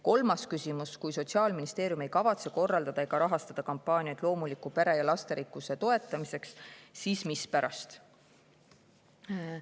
Kolmas küsimus: "Kui Sotsiaalministeerium ei kavatse korraldada ega rahastada kampaaniaid loomuliku pere ja lasterikkuse toetamiseks, siis mispärast?